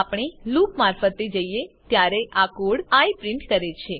આપણે લૂપ મારફતે જઈએ ત્યારે આ કોડ આઇ પ્રિન્ટ કરે છે